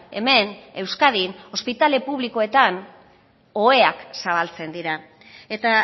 hemen euskadin ospitale publikoetan oheak zabaltzen dira eta